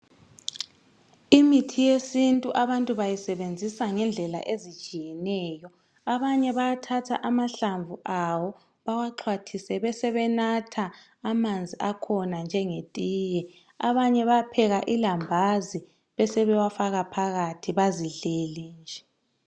Imithi yesintu abantu bayisebenzisa ngendlela ezitshiyeneyo. Abanye bathatha amahlamvu bewaxhwathise njengetiye, besebenatha. Abanye bayapheka ilambazi besewafaka phakathi bazidlele nje.